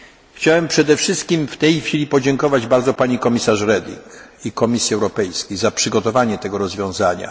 czytanie. Chciałem przede wszystkim w tej chwili podziękować bardzo pani komisarz Reding i Komisji Europejskiej za przygotowanie tego